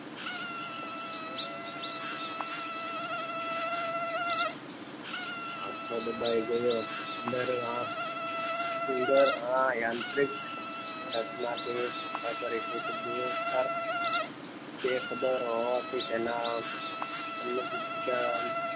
આંખો દબાઈ ગયો ઉંદર આંખ ઉંદર આંતરિક રચના થી અપરિચિત તિરસ્કાર બે ખબર હોવાથી તેના અન્ન